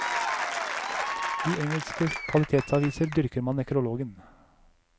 I engelske kvalitetsaviser dyrker man nekrologen.